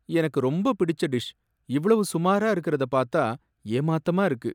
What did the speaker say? எனக்கு ரொம்பப் பிடிச்ச டிஷ் இவ்வளவு சுமாரா இருக்குறத பாத்தா ஏமாத்தமா இருக்கு.